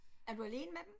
Er du alene med dem